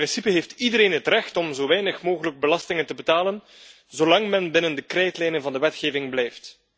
In principe heeft iedereen het recht om zo weinig mogelijk belastingen te betalen, zolang men binnen de krijtlijnen van de wetgeving blijft.